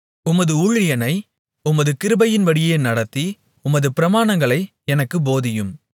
உமது ஊழியனை உமது கிருபையின்படியே நடத்தி உமது பிரமாணங்களை எனக்குப் போதியும்